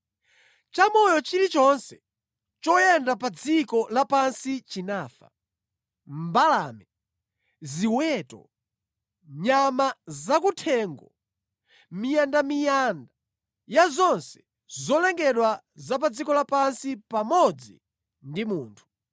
Chamoyo chilichonse choyenda pa dziko lapansi chinafa: mbalame, ziweto, nyama zakuthengo, miyandamiyanda ya zonse zolengedwa za pa dziko lapansi pamodzi ndi anthu.